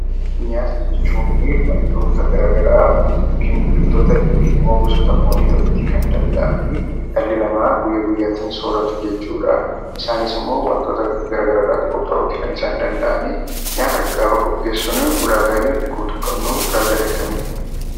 Nyaata jechuunii wantoota garagaraa yokin biqiltoota yokin immoo gosoota foonii ta'uutii kan danda'anii dhalli namaa guyyaa guyyaatin sooratu jechuudhaa. Isaanis immoo wantoota garagaraa irraati qophaa'uuti kan isaan danda'anii. Nyaata gaafa qopheessinuu ulaagaaleen nuti guutuu qabnuu ulaagaalee akkamiiti?